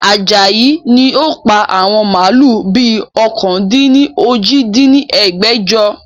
Ajayi ni ó pa àwọn màálù bi ọ̀kan-dín-ní-ojì dín ní ẹgbẹ́jọ